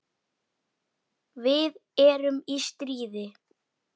Við erum í stríði.